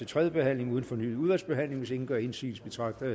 tredje behandling uden fornyet udvalgsbehandling hvis ingen gør indsigelse betragter jeg